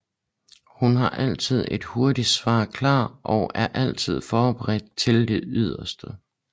Hun har altid et hurtigt svar klar og er altid forberedt til det yderste